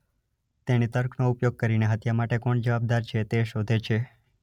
તેણી તર્કનો ઉપયોગ કરીને હત્યા માટે જવાબદાર કોણ છે તે શોધે છે.